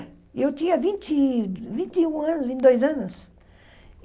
Eu tinha vinte vinte e um anos, vinte e dois anos.